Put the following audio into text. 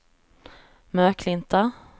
Möklinta